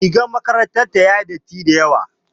Rigar makarantar ta yayi datti dayawa.